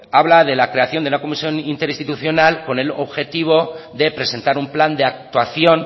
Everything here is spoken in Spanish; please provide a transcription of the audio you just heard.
habla de la creación de una comisión interinstitucional con el objetivo de presentar un plan de actuación